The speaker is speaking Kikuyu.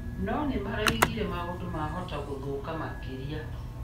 No nĩmaraugire maũndũ mahota gũthũka makĩria.